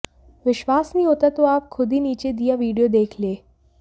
विश्नास नहीं होता तो आप खुद ही नीचे दिया वीडियो देख लें